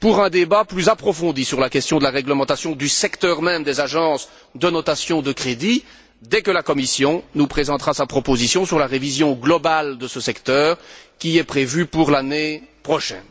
pour un débat plus approfondi sur la question de la réglementation du secteur même des agences de notation de crédit dès que la Commission nous présentera sa proposition sur la révision globale de ce secteur, qui est prévue pour l'année prochaine.